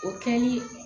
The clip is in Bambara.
O kɛli